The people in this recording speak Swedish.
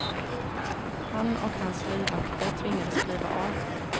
Han och hans livvakter tvingades kliva av.